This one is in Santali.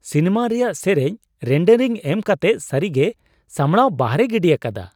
ᱥᱤᱱᱮᱢᱟ ᱨᱮᱭᱟᱜ ᱥᱮᱨᱮᱧ ᱨᱮᱱᱰᱟᱨᱤᱝ ᱮᱢ ᱠᱟᱛᱮ ᱥᱟᱹᱨᱤᱜᱮ ᱥᱟᱢᱲᱟᱣ ᱵᱟᱦᱨᱮᱭ ᱜᱤᱰᱤ ᱟᱠᱟᱫᱟ !